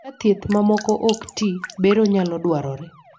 ka thieth mamoko ik tii, bero nyalo dwarore